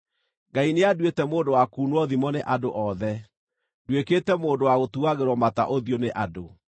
“Ngai nĩanduĩte mũndũ wa kuunwo thimo nĩ andũ othe, nduĩkĩte mũndũ wa gũtuagĩrwo mata ũthiũ nĩ andũ.